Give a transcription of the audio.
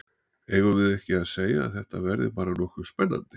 Eigum við ekki að segja að þetta verði bara nokkuð spennandi?